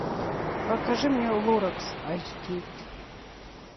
покажи мне лоракс айч ди